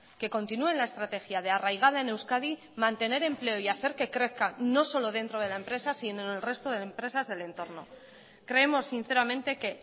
que continúe en la estrategia de arraigada en euskadi mantener empleo y hacer que crezca no solo dentro de la empresa sino en el resto de empresas del entorno creemos sinceramente que